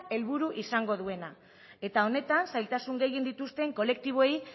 helburu izango duena eta honetaz zailtasun gehien dituzten kolektiboei